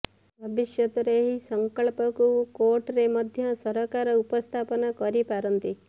ଭବିଷ୍ୟତରେ ଏହି ସଂକଳ୍ପକୁ କୋର୍ଟରେ ମଧ୍ୟ ସରକାର ଉପସ୍ଥାପନ କରିପାରନ୍ତି